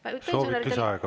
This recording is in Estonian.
Soovite lisaaega või?